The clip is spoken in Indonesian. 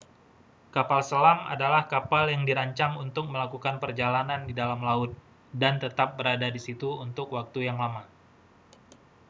kapal selam adalah kapal yang dirancang untuk melakukan perjalanan di dalam laut dan tetap berada di situ untuk waktu yang lama